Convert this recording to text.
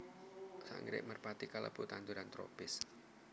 Anggrèk merpati kalebu tanduran tropis